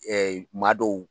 maa dɔw